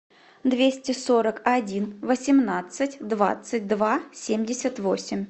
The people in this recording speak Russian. двести сорок один восемнадцать двадцать два семьдесят восемь